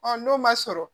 n'o ma sɔrɔ